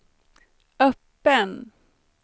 öppen